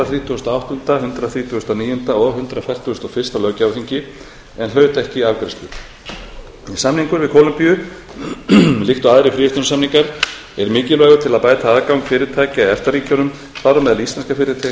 þrítugasta og áttunda hundrað þrítugasta og níunda og hundrað fertugasta og fyrsta löggjafarþingi en hlaut ekki afgreiðslu samningur við kólumbíu líkt og aðrir fríverslunarsamningar er mikilvægur til að bæta aðgang fyrirtækja í efta ríkjunum þar á meðal íslenskra fyrirtækja